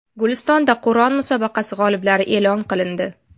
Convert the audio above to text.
Gulistonda Qur’on musobaqasi g‘oliblari e’lon qilindi.